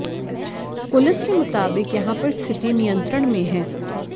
police के मुताबिक यहां पर स्थिति नियंत्रण में हैं